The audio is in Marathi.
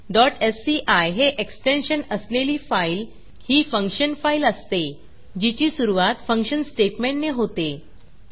sci हे एक्सटेन्शन असलेली फाईल ही फंक्शन फाईल असते जिची सुरूवात फंक्शन स्टेटमेंटने होते